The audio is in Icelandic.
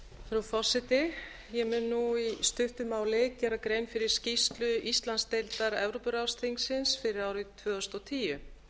frú forseti ég mun nú í stuttu máli gera grein fyrir skýrslu íslandsdeildar evrópuráðsþingsins fyrir árið tvö þúsund og tíu